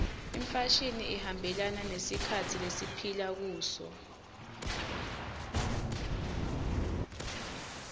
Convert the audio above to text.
imfashini ihambelana nesikhatsi lesiphila kuso